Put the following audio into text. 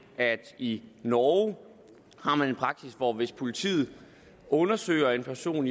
at de i norge har en praksis hvor der hvis politiet undersøger en person